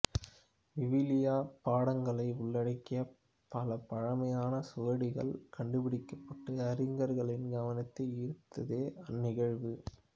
விவிலிய பாடங்களை உள்ளடக்கிய பல பழமையான சுவடிகள் கண்டுபிடிக்கப்பட்டு அறிஞர்களின் கவனத்தை ஈர்த்ததே அந்நிகழ்வு